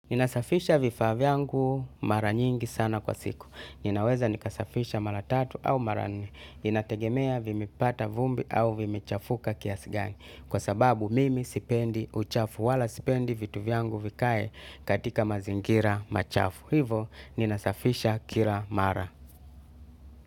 Ninasafisha vifaa vyangu mara nyingi sana kwa siku. Ninaweza nikasafisha mara tatu au mara nne. Inategemea vimepata vumbi au vimechafuka kiasi gani. Kwa sababu mimi sipendi uchafu wala sipendi vitu vyangu vikae katika mazingira machafu. Hivo ninasafisha kila mara.